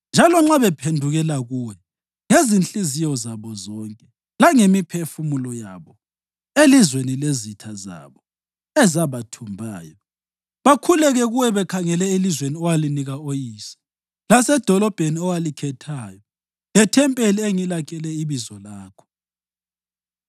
njalo nxa bephendukela kuwe ngezinhliziyo zabo zonke langemiphefumulo yabo elizweni lezitha zabo ezabathumbayo, bakhuleke kuwe bekhangele elizweni owalinika oyise, lasedolobheni owalikhethayo lethempeli engilakhele iBizo lakho,